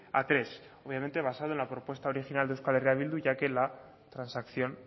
a tres obviamente basado en la propuesta original de euskal herria bildu ya que la transacción